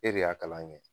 E de y'a kalan kɛ